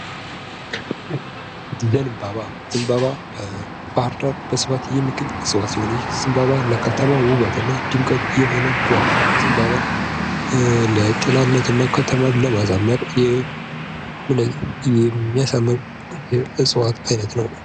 ዘንባባ በባህር ዳር በስፋት የሚገኝ እጽዋት ነው ። ይህ ለከተማው ውበት እና ድምቀት የሆነ ዛፍ ነው ::ዘንባባ ለጥላነት እና ከተማን ለማሳመር የሚያሳምር የእጽዋት አይነት ነው ።